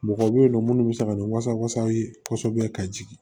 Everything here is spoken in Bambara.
Mɔgɔw bɛ yen nɔ minnu bɛ se ka ni wasa wasaw ye kosɛbɛ ka jigin